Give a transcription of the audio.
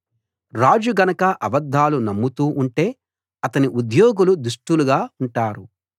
రాజు గనక అబద్ధాలు నమ్ముతూ ఉంటే అతని ఉద్యోగులు దుష్టులుగా ఉంటారు